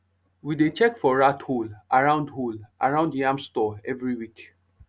we dey check for rat hole around hole around yam store every week